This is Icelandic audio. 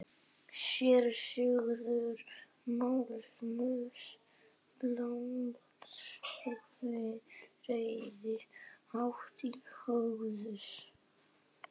SÉRA SIGURÐUR: Magnús landshöfðingi reiðir hátt til höggs.